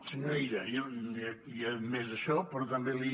senyor illa jo li he admès això però també li